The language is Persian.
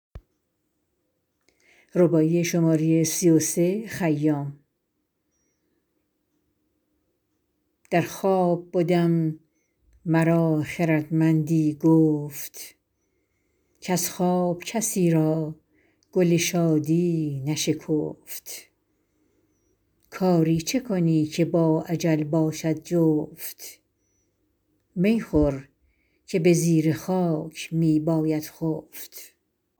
در خواب بدم مرا خردمندی گفت کز خواب کسی را گل شادی نشکفت کاری چه کنی که با اجل باشد جفت می خور که به زیر خاک می باید خفت